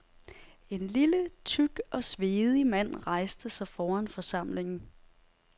En lille, tyk og svedig mand rejste sig foran forsamlingen.